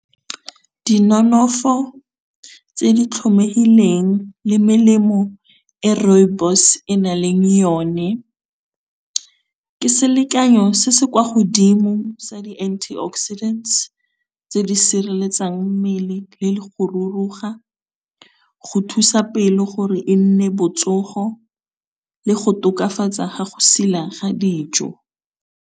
Dinonofo tse di tlhomehileng le melemo e rooibos e na leng yone ke selekanyo se se kwa godimo sa di-anti oxidant tse di sireletsang mmele, le go ruruga, go thusa pelo gore e nne botsogo le go tokafatsa ga go sila ga dijo.